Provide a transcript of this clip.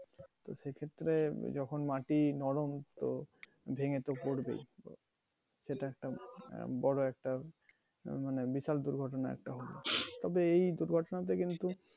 তো সেক্ষেত্রে যখন মাটি নরম তো ভেঙ্গে তো পরবেই। সেটা একটা বড় একটা মানে বিশাল দুর্ঘটনা একটা তবে এই দুর্ঘটনা থেকে